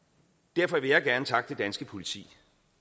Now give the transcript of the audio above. derfor vil jeg gerne takke det danske politi